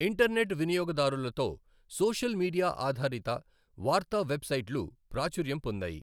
Internet వినియోగదారులతో, social media ఆధారిత వార్తా వెబ్ సైట్లు ప్రాచుర్యం పొందాయి.